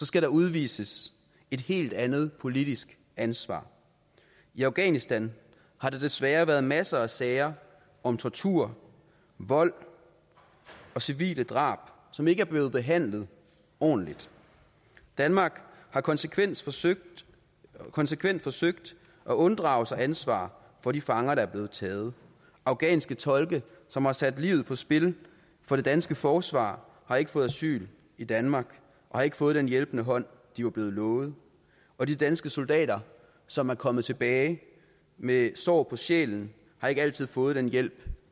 skal der udvises et helt andet politisk ansvar i afghanistan har der desværre været masser af sager om tortur vold og civile drab som ikke er blevet behandlet ordentligt danmark har konsekvent forsøgt konsekvent forsøgt at unddrage sig ansvar for de fanger der er blevet taget afghanske tolke som har sat livet på spil for det danske forsvar har ikke fået asyl i danmark og har ikke fået den hjælpende hånd de var blevet lovet og de danske soldater som er kommet tilbage med sår på sjælen har ikke altid fået den hjælp